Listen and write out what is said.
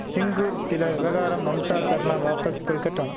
சிங்கூர் சில விவகாரம் மம்தா தர்ணா வாபஸ் கொல்கட்டா